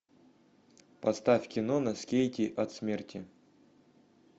поставь кино на скейте от смерти